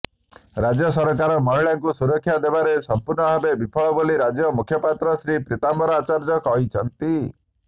ରାଜ୍ୟସରକାର ମହିଳାଙ୍କୁ ସୁରକ୍ଷା ଦେବାରେ ସଂପୂର୍ଣ୍ଣଭାବେ ବିଫଳ ବୋଲି ରାଜ୍ୟ ମୁଖପାତ୍ର ଶ୍ରୀ ପୀତାମ୍ବର ଆଚାର୍ଯ୍ୟ କହିଛନ୍ତି